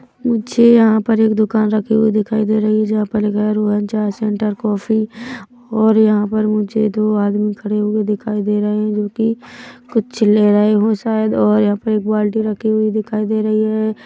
मुझे यहाँ पर एक दूकान रखी हुई दिखाई दे रखी हुई है जहाँ पर रोहन चाय सेंटर कॉफ़ी और यहाँ पर मुझे दो आदमी खड़े हुए दिखाई दे रहे है जोकि कुछ ले रहे हो शायद और यहाँ पर एक बाल्टी रखी हुई दिखाई दे रही है।